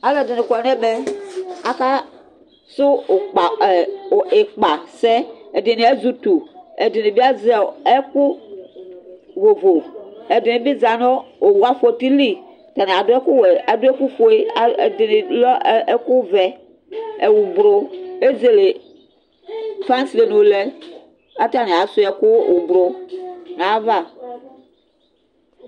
Alʋɛdɩnɩ kɔ nʋ ɛmɛ Akasʋ ʋkpa a ɛ ɩkpasɛ Ɛdɩnɩ azɛ utu Ɛdɩnɩ bɩ azɛ ɛkʋ vovo Ɛdɩnɩ bɩ za nʋ owu afɔtɩ li Atanɩ adʋ ɛkʋwɛ, adʋ ɛkʋfue A ɛ ɛdɩnɩ dʋ ɛkʋvɛ, oblo Ezele fasɛlɛnu lɛ kʋ atanɩ asʋɩa ɛkʋ oblo nʋ ayava